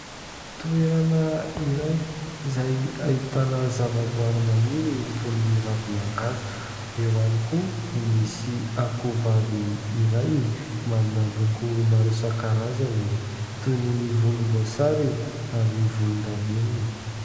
Toerana iray izay ahitana zava-boary maniry toy ny ravi-mangazo. Eo ihany koa no misy akohovavy iray manana loko maro isan-karazany toy ny volom-boasary ary volon-davenina.